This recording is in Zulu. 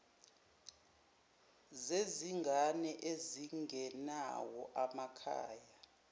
zezingane ezingenawo amakhaya